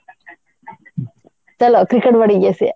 ଚାଲ cricket ବାଡେଇକି ଆସିବା